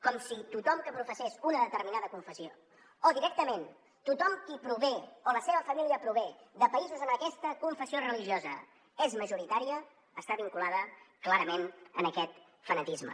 com si tothom que professés una determinada confessió o directament tothom qui prové o la seva família prové de països on aquesta confessió religiosa és majoritària estigués vinculat clarament a aquest fanatisme